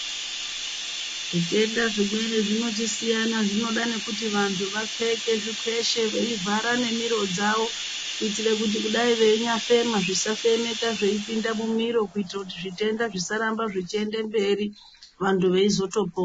Zvitenda zvimweni zvinochisiyana zvinoda kuti vantu vapfeke zvikweshe veivhara nemiro dzavo kuitira kuti kudai veinyafema zvisafemeka zveipinda mumiro kuitira kuti zvitenda zvisarambe zveienda mberi antu veizotopora .